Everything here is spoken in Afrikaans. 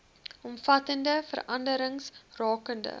omvattende veranderings rakende